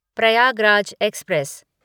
Prayagraj express